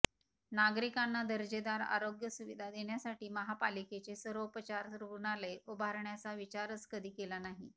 नागरिकांना दर्जेदार आरोग्यसुविधा देण्यासाठी महापालिकेचे सर्वोपचार रुग्णालय उभारण्याचा विचारच कधी केला नाही